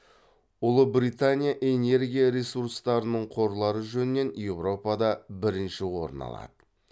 ұлыбритания энергия ресурстарының қорлары жөнінен еуропада бірінші орын алады